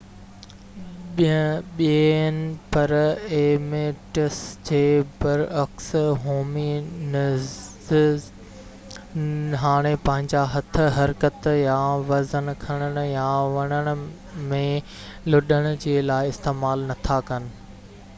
ٻيئن primates جي بر عڪس هومي نڊز هاڻي پنهنجا هٿ حرڪت يا وزن کڻڻ يا وڻڻ ۾ لڏڻ جي لاءِ استعمال نٿا ڪن